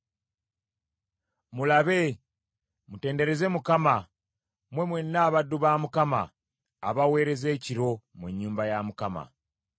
Mulabe, mutendereze Mukama , mmwe mwenna abaddu ba Mukama , abaweereza ekiro mu nnyumba ya Mukama .